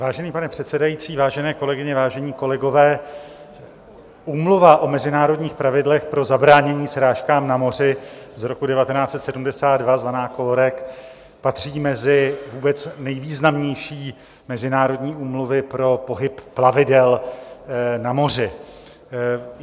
Vážený pane předsedající, vážené kolegyně, vážení kolegové, Úmluva o mezinárodních Pravidlech pro zabránění srážkám na moři z roku 1972 zvaná COLREG patří mezi vůbec nejvýznamnější mezinárodní úmluvy pro pohyb plavidel na moři.